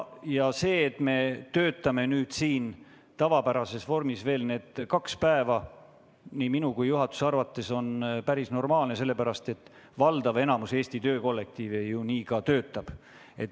Ja see, et me töötame need kaks päeva veel siin tavapärases vormis, on nii minu kui ka juhatuse arvates päris normaalne, sellepärast et valdav enamik Eesti töökollektiive ju nii ka töötab.